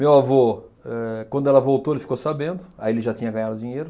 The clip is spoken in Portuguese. Meu avô, eh, quando ela voltou, ele ficou sabendo, aí ele já tinha ganhado dinheiro,